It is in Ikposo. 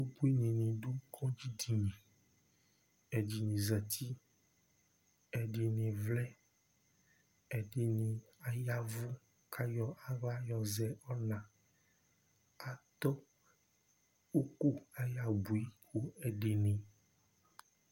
Ʋbʋini ni du kɔdzi dini Ɛdiní zɛti Ɛdiní vlɛ Ɛdiní ayavʋ kʋ ayɔ aɣla yɔ zɛ ɔna Adu ʋku ayʋ abʋi kʋ ɛdiní